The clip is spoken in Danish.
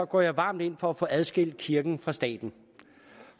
går jeg varmt ind for at få adskilt kirken fra staten